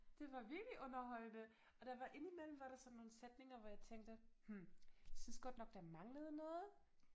Det var virkelig underholdende og der var indimellem var der sådan nogle sætninger hvor jeg tænkte hm synes godt nok der manglede noget